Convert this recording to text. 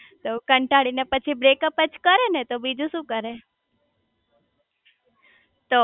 તો કંટાળી ને પછી બ્રેકઅપજ કરે ને બીજું શુ કરે